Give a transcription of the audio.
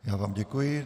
Já vám děkuji.